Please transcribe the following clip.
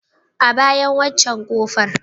A bayan waccen ƙofar.